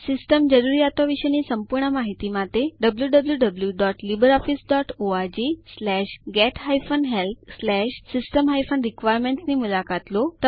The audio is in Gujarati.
સિસ્ટમ જરૂરિયાતો વિશેની સંપૂર્ણ માહિતી માટે httpwwwlibreofficeorgget helpsystem requirements ની મુલાકાત લો